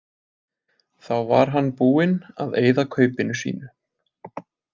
Þá var hann búinn að eyða kaupinu sínu.